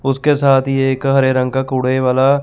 उसके साथ ये एक हरे रंग का कूड़े वाला--